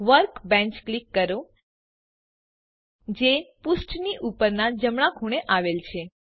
workbench click કરો જે પુષ્ઠની ઉપરનાં જમણાં ખૂણે આવેલ છે